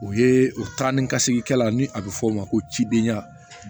O ye o taa ni ka segin kɛla ni a bɛ fɔ o ma ko cidenya